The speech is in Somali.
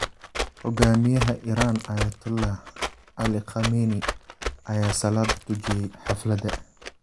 Hogaamiyaha Iran Ayatollah Ali Khamenei ayaa salaada tujiyay xaflada.